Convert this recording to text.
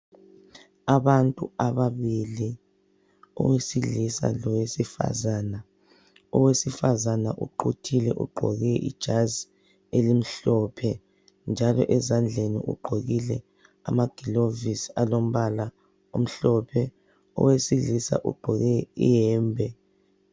Abantu ababili owesilisa lowesifazana. Owesifazana uquthile ugqoke ijazi elimhlophe njalo ezandleni ugqokile amagilavosi alombala amhlophe. Owesilisa ugqoke iyembe.